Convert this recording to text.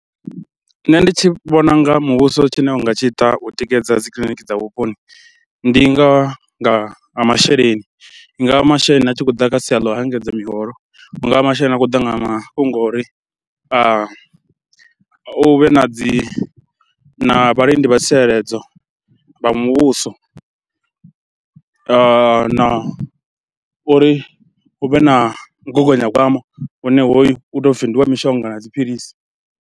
Nṋe ndi tshi vhona u nga muvhuso tshine u nga tshi ita u tikedza dzi kiḽiniki dza vhuponi, ndi nga nga ha masheleni, nga masheleni a tshi khou ḓa kha sia ḽa u engedza miholo, hu nga vha masheleni a khou ṱangana na mafhungo ori hu vhe na dzi na vhalindi vha tsireledzo vha muvhuso. Na uri hu vhe na mugaganyagwama une hoyu u tou pfhi ndi wa mishonga na dzi philisi.